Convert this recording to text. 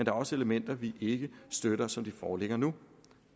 er også elementer vi ikke støtter som de foreligger nu